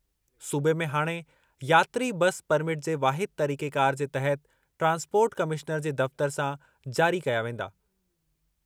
सूबे में हाणे यात्री बस परमिट जे वाहिद तरीक़ेकार जे तहत ट्रांसपोर्ट कमिश्नर जे दफ़्तर सां जारी कया वेंदा।